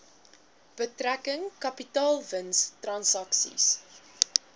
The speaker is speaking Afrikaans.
betrekking kapitaalwins transaksies